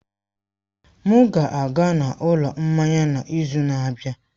M ga-aga n'ụlọ mmanya n'izu na-abịa.